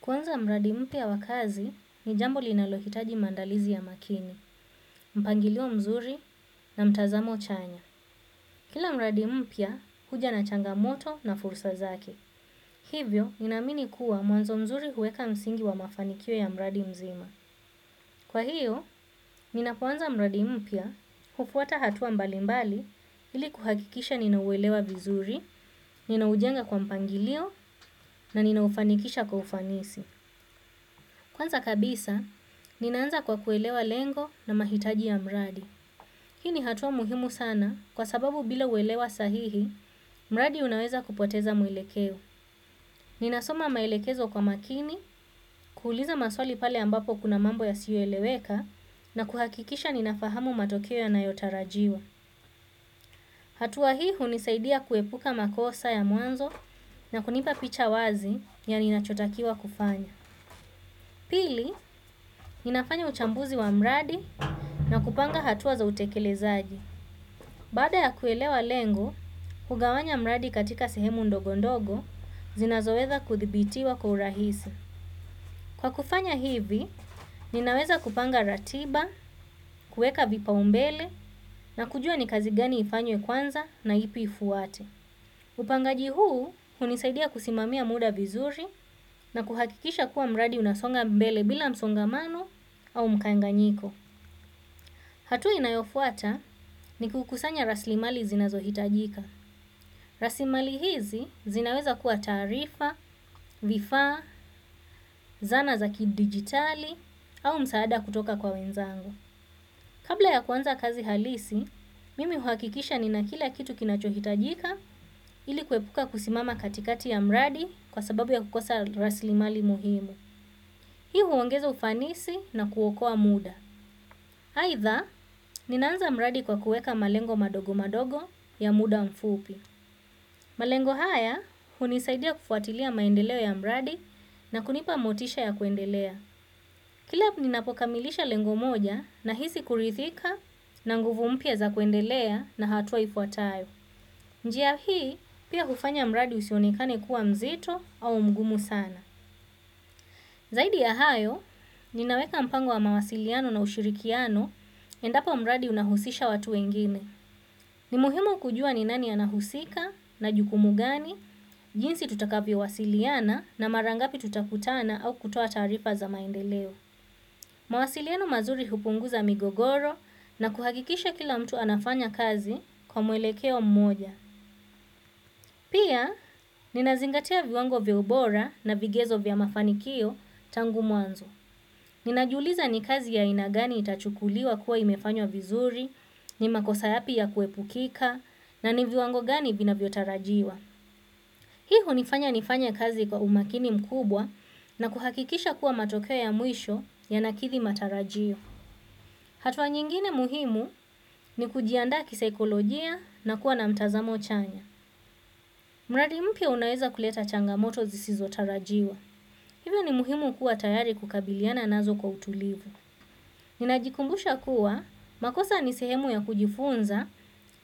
Kwanza mradi mpya ya wakazi ni jambo linalohitaji mandalizi ya makini, mpangilio mzuri na mtazamo chanya. Kila mradi mpya huja na changa moto na fursa zake. Hivyo, ninaamini kuwa mwanzo mzuri huweka msingi wa mafanikio ya mradi mzima. Kwa hio ninapo anza mradi mpya hufuata hatua mbali mbali ili kuhakikisha ninauelewa vizuri ninaujenga kwa mpangilio na nina ufanikisha kwa ufanisi. Kwanza kabisa, ninaanza kwa kuelewa lengo na mahitaji ya mradi. Hii ni hatua muhimu sana kwa sababu bila uelewa sahihi, mradi unaweza kupoteza mwelekeo. Ninasoma maelekezo kwa makini, kuuliza maswali pale ambapo kuna mambo yasiyo eleweka na kuhakikisha ninafahamu matokeo yanayotarajiwa. Hatua hii hunisaidia kuepuka makosa ya mwanzo na kunipa wazi ya ninacho takiwa kufanya. Pili, ninafanya uchambuzi wa mradi na kupanga hatua za utekele zaji. Baada ya kuelewa lengo, hugawanya mradi katika sehemu ndogondogo, zinazowetha kuthibitiwa kwa urahisi. Kwa kufanya hivi, ninaweza kupanga ratiba, kueka vipa lumbele na kujua ni kazi gani ifanywe kwanza na ipi ifuate. Upangaji huu hunisaidia kusimamia muda vizuri na kuhakikisha kuwa mradi unasonga mbele bila msongamano au mkanganyiko. Hatua inayofuata ni kukusanya raslimali zinazohitajika. Raslimali hizi zinaweza kuwa taarifa, vifaa, zana za kidigitali au msaada kutoka kwa wenzangu. Kabla ya kuanza kazi halisi mimi huakikisha nina kila kitu kinacho hitajika ili kuepuka kusimama katikati ya mradi kwa sababu ya kukosa raslimali muhimu. Hii huongeza ufanisi na kuokoa muda. Haitha, ninaanza mradi kwa kueka malengo madogo madogo ya muda mfupi. Malengo haya, hunisaidia kufuatilia maendeleo ya mradi na kunipa motisha ya kuendelea. Kila ni napokamilisha lengo moja na hisi kurithika na nguvu mpya za kuendelea na hatua ifuatayo. Njia hii pia hufanya mradi usionekane kuwa mzito au mgumu sana. Zaidi ya hayo, ninaweka mpango wa mawasiliano na ushirikiano endapo mradi unahusisha watu wengine. Ni muhimu kujua ni nani anahusika na jukumu gani, jinsi tutakavyo wasiliana na marangapi tutakutana au kutoa tarifa za maendeleo. Mawasiliano mazuri hupunguza migogoro na kuhakikisha kila mtu anafanya kazi kwa mwelekeo mmoja. Pia, ninazingatia viwango viya ubora na vigezo vya mafanikio tangu muanzo. Ninajiuliza ni kazi ya aina gani itachukuliwa kuwa imefanywa vizuri, ni makosa yapi ya kuepukika, na ni viwango gani vinavyotarajiwa. Hii hunifanya nifanye kazi kwa umakini mkubwa na kuhakikisha kuwa matokeo ya mwisho ya nakithi matarajio. Hatua nyingine muhimu ni kujiandaa ki saikolojia na kuwa na mtazamo chanya. Mradi mpya unaweza kuleta changamoto zisizi tarajiwa. Hivyo ni muhimu kuwa tayari kukabiliana nazo kwa utulivu. Ninajikumbusha kuwa makosa ni sehemu ya kujifunza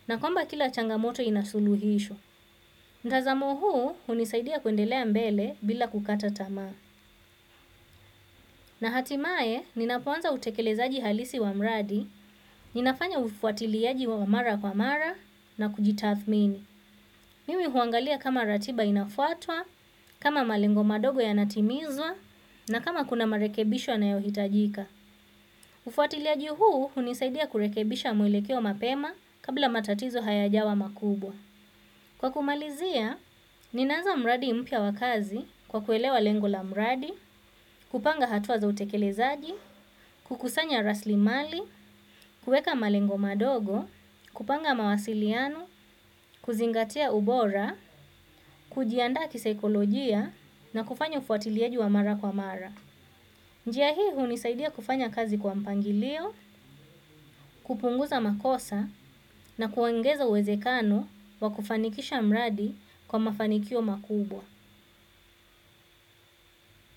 na kwamba kila changamoto ina suluhisho. Mtazamo huu hunisaidia kuendelea mbele bila kukata tamaa. Na hatimae, ninapoanza utekelezaji halisi wa mradi, ninafanya ufuatiliaji wa mara kwa mara na kujitathmini. Mimi huangalia kama ratiba inafuatwa, kama malengo madogo ya natimizwa, na kama kuna marekebisho yana yohitajika. Ufuatiliaji huu hunisaidia kurekebisha mwilekeo mapema kabla matatizo haya jawa makubwa. Kwa kumalizia, ninaanza mradi mpya wa kazi kwa kuelewa lengo la mradi, kupanga hatua za utekelezaji, kukusanya raslimali, kueka malengo madogo, kupanga mawasiliano, kuzingatia ubora, kujianda kisaikolojia na kufanya ufuatiliaji wa mara kwa mara. Njia hii hunisaidia kufanya kazi kwa mpangilio, kupunguza makosa na kuongeza uwezekano wa kufanikisha mradi kwa mafanikio makubwa.